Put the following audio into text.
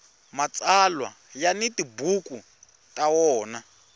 mtsalwa ya ni tibuku ta wona